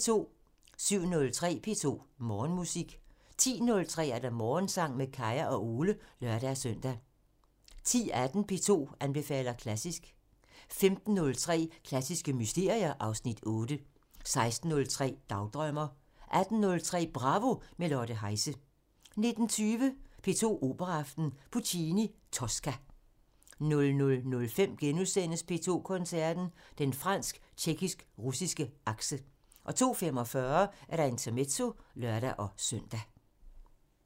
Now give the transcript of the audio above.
07:03: P2 Morgenmusik 10:03: Morgensang med Kaya og Ole (lør-søn) 10:18: P2 anbefaler klassisk 15:03: Klassiske mysterier (Afs. 8) 16:03: Dagdrømmer 18:03: Bravo – med Lotte Heise 19:20: P2 Operaaften – Puccini: Tosca 00:05: P2 Koncerten – Den fransk-tjekkisk-russiske akse * 02:45: Intermezzo (lør-søn)